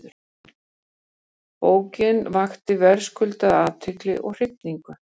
Bókin vakti verðskuldaða athygli og hrifningu.